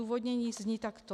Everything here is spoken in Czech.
Odůvodnění zní takto.